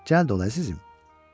Gəl dola əzizim.